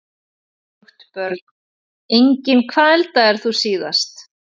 Hvorugt Börn: Engin Hvað eldaðir þú síðast?